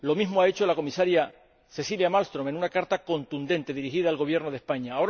Lo mismo ha hecho la Comisaria Cecilia Malmström, en una carta contundente dirigida al Gobierno de España.